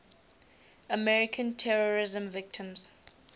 american terrorism victims